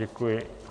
Děkuji.